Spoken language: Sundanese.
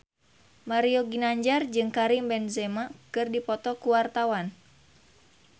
Mario Ginanjar jeung Karim Benzema keur dipoto ku wartawan